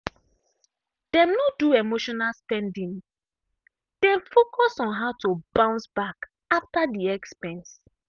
dem no do emotional spending dem focus on how to bounce back after the expense.